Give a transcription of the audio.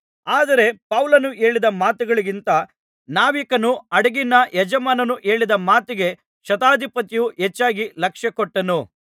ಆದರೆ ಪೌಲನು ಹೇಳಿದ ಮಾತುಗಳಿಗಿಂತ ನಾವಿಕನೂ ಹಡಗಿನ ಯಜಮಾನನೂ ಹೇಳಿದ ಮಾತಿಗೆ ಶತಾಧಿಪತಿಯು ಹೆಚ್ಚಾಗಿ ಲಕ್ಷ್ಯಕೊಟ್ಟನು